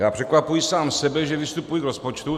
Já překvapuji sám sebe, že vystupuji k rozpočtu.